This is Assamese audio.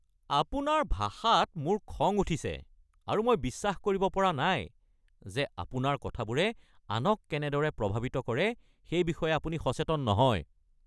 আপোনাৰ ভাষাত মোৰ খং উঠিছে আৰু বিশ্বাস কৰিব পৰা নাই যে আপোনাৰ কথাবোৰে আনক কেনেদৰে প্ৰভাৱিত কৰে সেই বিষয়ে আপুনি সচেতন নহয়।